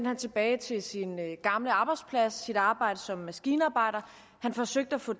han tilbage til sin gamle arbejdsplads og sit arbejde som maskinarbejder han forsøgte at få